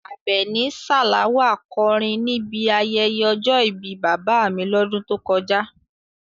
Abeni Salawa kọrin níbi ayẹyẹ ọjọ́ ìbí bàbá mi lọ́dún tó kọjá.